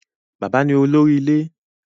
Bàbá ni olórí ilé